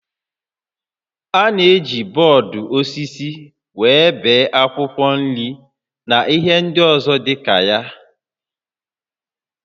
A na-eji bọọdụ osisi were ebe akwụkwọ nri na ihe ndị ọzọ dịka ya